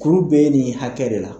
Kuru bee nin hakɛ de la